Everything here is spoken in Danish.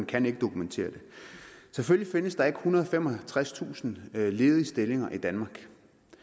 kan ikke dokumentere det selvfølgelig findes der ikke ethundrede og femogtredstusind ledige stillinger i danmark